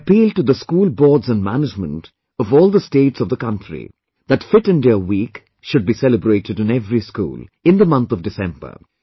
I appeal to the school boards and management of all the states of the country that Fit India Week should be celebrated in every school, in the month of December